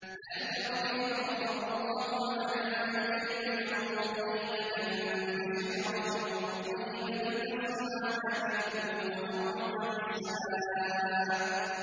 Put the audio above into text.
أَلَمْ تَرَ كَيْفَ ضَرَبَ اللَّهُ مَثَلًا كَلِمَةً طَيِّبَةً كَشَجَرَةٍ طَيِّبَةٍ أَصْلُهَا ثَابِتٌ وَفَرْعُهَا فِي السَّمَاءِ